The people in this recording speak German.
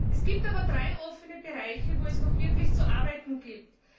Es gibt aber drei offene Bereiche, wo es noch wirklich Arbeit gibt.